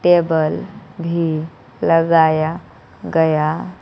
table भी लगाया गया--